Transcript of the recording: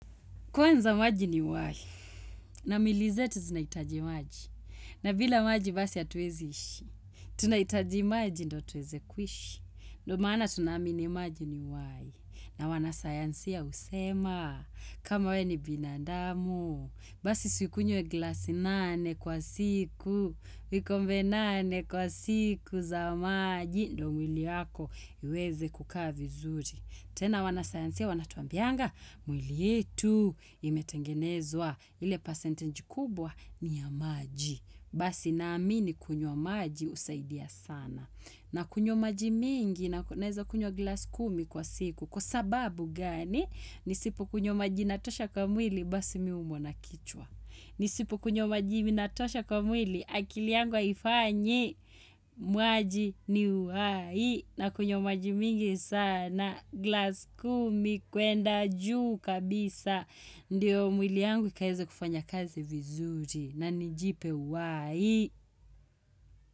Kwanza maji ni uhai, na milizetu zinaitaji maji, na bila maji basi hatuwezi ishi, tunaitaji maji ndio tuweze kuishi, ndo maana tunaamini maji ni uhai, na wanasayansia husema, kama we ni binadamu, basi si ukunywe glasi nane kwa siku, vikombe nane kwa siku za maji, ndo mwili yako iweze kukaa vizuri. Tena wanasayansia wanatuambianga mwili yetu imetengenezwa ile percentage kubwa ni ya maji. Basi naamini kunywa maji husaidia sana. Na kunywa maji mingi naeza kunywa glass kumi kwa siku kwa sababu gani nisipo kunywa maji inatosha kwa mwili basi mi huumwa na kichwa. Nisipo kunywa maji inatosha kwa mwili akili yangu haifanyi maji ni uhai na kunywa maji mingi sana. Glass kumi kwenda juu kabisa. Ndiyo mwili yangu ikaeze kufanya kazi vizuri. Na nijipe uhai.